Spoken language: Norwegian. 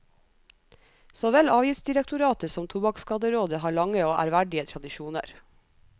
Såvel avgiftsdirektoratet som tobakkskaderådet har lange og ærverdige tradisjoner.